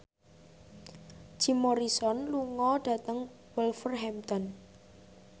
Jim Morrison lunga dhateng Wolverhampton